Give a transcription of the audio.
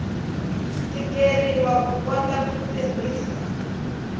tikeriwa ku kota ku tirhisa